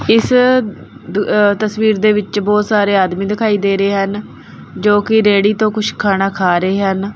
ਇਸ ਤਸਵੀਰ ਦੇ ਵਿੱਚ ਬਹੁਤ ਸਾਰੇ ਆਦਮੀ ਦਿਖਾਈ ਦੇ ਰਹੇ ਹਨ ਜੋ ਕਿ ਰੇੜੀ ਤੋਂ ਕੁਝ ਖਾਣਾ ਖਾ ਰਹੇ ਹਨ।